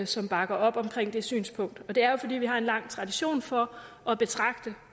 som bakker op om det synspunkt og det er jo fordi vi har en lang tradition for at betragte